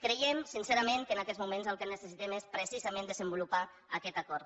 creiem sincerament que en aquests moments el que necessitem és precisament desenvolupar aquest acord